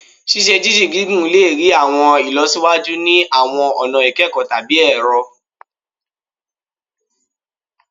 Ṣiṣe-jinjin gigun le rii awọn ilọsiwaju ni awọn ọna ikẹkọ tabi ẹrọ